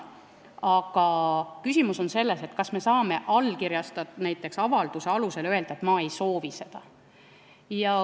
Aga küsimus on selles, kas saab näiteks avalduse alusel öelda, et ma ei soovi seda.